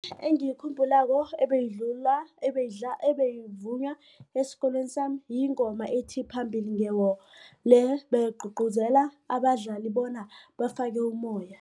Engiyikhumbulako ebeyivunywa esikolweni sami yingoma ethi, phambili nge-war le beyigcugcuzela abadlali bona bafake ummoya.